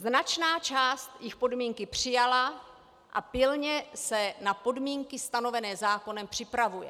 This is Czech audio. Značná část jich podmínky přijala a pilně se na podmínky stanovené zákonem připravuje.